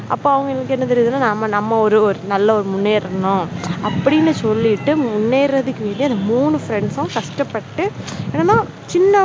அப்போ அவங்க கிட்ட இருந்து நமக்கு என்ன தெரியுதுன்னா நம்ம ஒரு நல்ல முன்னேறனும் அப்படின்னு சொல்லிட்டு முன்னேறதுக்கு மூணு friends சும் கஷ்டப்பட்டு என்னன்னா சின்ன